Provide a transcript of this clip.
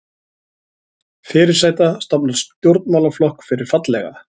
Fyrirsæta stofnar stjórnmálaflokk fyrir fallega